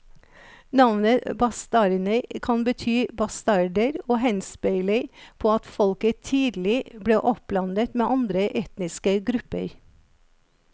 Navnet bastarner kan bety bastarder og henspeiler på at folket tidlig ble oppblandet med andre etniske grupper.